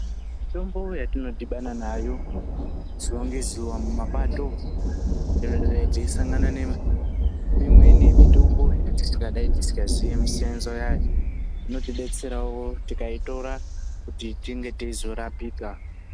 Mitombo yatinodibana nayo zuwa ngezuwa mumapato teisangana neimweni mitombo yatisikadayi tisikaziyi misiyaniso yayo inotidetserawo tikaitora kuti tinge teizorapika.